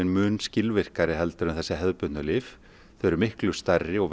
mun skilvirkari heldur en þessi hefðbundnu lyf þau eru miklu stærri og